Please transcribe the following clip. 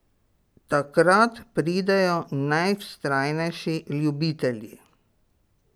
Takrat pridejo najvztrajnejši ljubitelji.